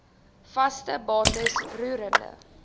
vaste bates roerende